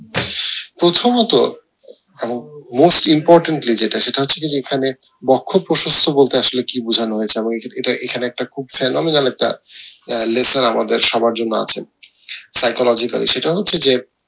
প্রথমত এবং most importantly যেটা সেটা হচ্ছে যে যেখানে বক্ষ প্রশস্ত বলতে আসলে কি বোঝানো হয়েছে আমার এইটা এখানে একটা খুব একটা আহ লেখা আমাদের সবার জন্য আছে psychologically সেটা হচ্ছে যে